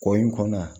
Kɔ in kɔnɔ yan